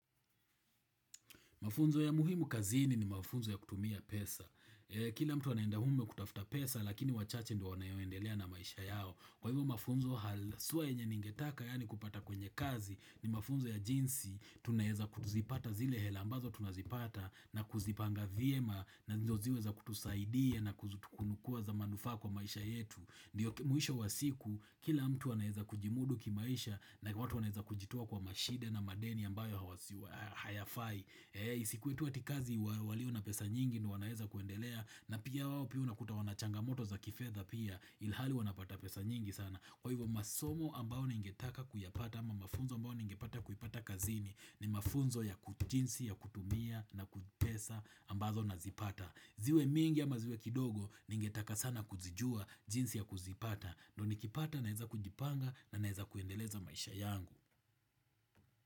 Mafunzo ya muhimu kazini ni mafunzo ya kutumia pesa. Kila mtu anaenda umewa kutafuta pesa, lakini wachache ndio wanao endelea na maisha yao. Kwa hivyo mafunzo, haswa yenye ningetaka, yani kupata kwenye kazi, ni mafunzo ya jinsi, tunaeza kuzipata zile hela ambazo tunazipata, na kuzipanga vyema, na ndio ziwe za kutusaidia, na kuchukua kuwa za manufaa kwa maisha yetu. Ndiyo mwisho wa siku, kila mtu anaweza kujimudu kimaisha, na watu wanaweza kujitoa kwa mashida na madeni ambayo hayafai. Isikuwe tuwa tikazi walio na pesa nyingi ni wanaweza kuendelea. Na pia wawo pia unakuta wanachangamoto za kifedha pia ilihali wanapata pesa nyingi sana. Kwa hivyo masomo ambao ningetaka kuyapata ama mafunzo ambao ningepata kuyipata kazini ni mafunzo ya kujinsi ya kutumia pesa ambazo nazipata. Ziwe mingi ama ziwe kidogo ningetaka sana kuzijua jinsi ya kuzipata. Ndoni kipata naeza kujipanga na naeza kuendeleza maisha yangu.